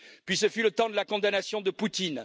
Puis ce fut le temps de la condamnation de Poutine.